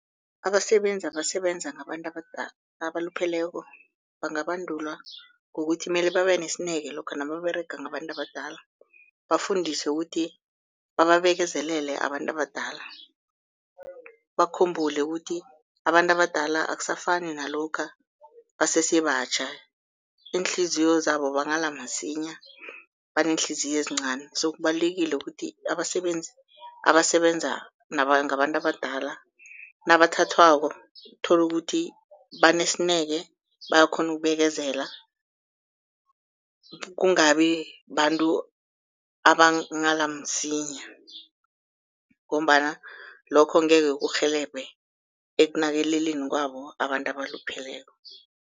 Abasebenzi abasebenza ngabantu abalupheleko bangabandulwa ngokuthi mele babe nesineke lokha nababerega ngabantu abadala, bafundiswe kuthi bababekezelele abantu abadala, bakhumbule kuthi abantu abadala akusafani nalokha basese batjha, iinhliziyo zabo banghala masinya baneenhliziyo ezincani. So kubalulekile kuthi abasebenzi abasebenza ngabantu abadala nabathathwako tholukuthi banesineke, bayakghona ukubekezela kungabi babantu abanghala msinya, ngombana lokho angekhe kurhelebhe ekunakeleleni kwabo abantu abalupheleko.